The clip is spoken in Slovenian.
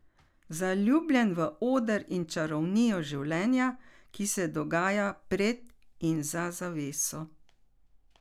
Zaljubljen v oder in čarovnijo življenja, ki se dogaja pred in za zaveso.